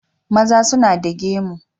Maza suna da gemu.